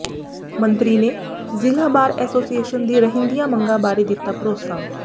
ਮੰਤਰੀ ਨੇ ਜ਼ਿਲ੍ਹਾ ਬਾਰ ਐਸੋਸੀਏਸ਼ਨ ਦੀ ਰਹਿੰਦੀਆਂ ਮੰਗਾਂ ਬਾਰੇ ਦਿੱਤਾ ਭਰੋਸਾ